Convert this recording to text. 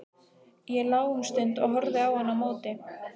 Ég lá um stund og horfði á hann á móti.